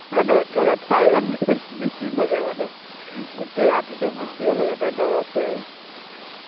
মানে একে লেথাৰীয়ে বিছি থাকে মানে। গোটেই ৰাতিতো বিছিয়ে থাকে, তেও নৰখে